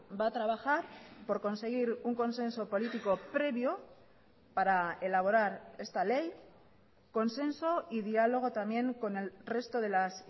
va a trabajar por conseguir un consenso político previo para elaborar esta ley consenso y diálogo también con el resto de las